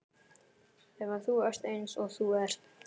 Þegar þú ert eins og þú ert.